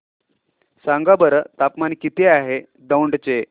सांगा बरं तापमान किती आहे दौंड चे